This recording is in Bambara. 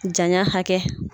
Jan y'a hakɛ.